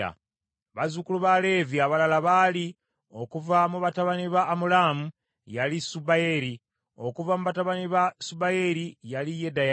Bazzukulu ba Leevi abalala baali: okuva mu batabani ba Amulaamu, yali Subayeri; okuva mu batabani ba Subayeri yali Yedeya.